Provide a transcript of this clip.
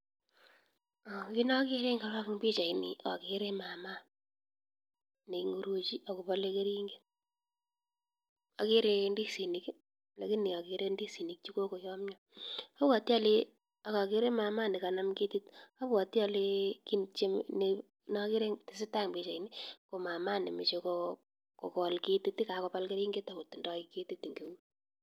Kit nakere en pichaini akere mama, neing'uruchi akopale keringet , akere ndisinik lakini akere ndisinik chokokoyamya, apwati ale kit netesatai en pichaini ko mama nemache kokol ketit , kokapal keringet akotindo kett en eut.